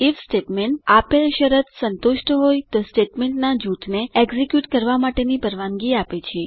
if statement આપેલ શરત સંતુષ્ટ હોય તો સ્ટેટમેન્ટના જૂથને એક્ઝીક્યુટ કરવા માટેની પરવાનગી આપે છે